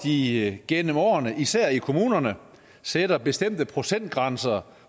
de gennem årene især i kommunerne sætter bestemte procentgrænser